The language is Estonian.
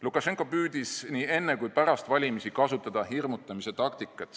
Lukašenka püüdis nii enne kui pärast valimisi kasutada hirmutamise taktikat.